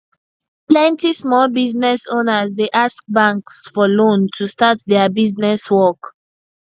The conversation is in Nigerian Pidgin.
plenty small business owners dey ask banks for loan to start their business work